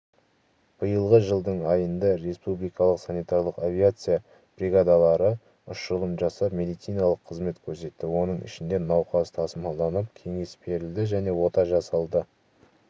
биылғы жылдың айында республикалық санитарлық авиация бригадалары ұшырылым жасап медициналық қызмет көрсетті оның ішінде науқас тасымалданып кеңес берілді және ота жасалды